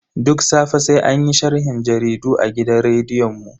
Duk safe sai anyi sharhin jaridu a gidan rediyon mu.